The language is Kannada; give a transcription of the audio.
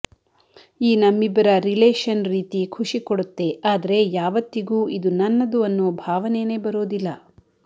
ಈ ನಮ್ಮಿಬ್ಬರ ರಿಲೇಷನ್ ರೀತಿ ಖುಶಿಕೊಡುತ್ತೆ ಆದ್ರೆ ಯಾವತ್ತಿಗೂ ಇದು ನನ್ನದು ಅನ್ನೋ ಬಾವನೇನೆ ಬರೋದಿಲ್ಲ